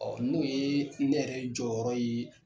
Ɔ n'o ye ne yɛrɛ jɔyɔrɔ ye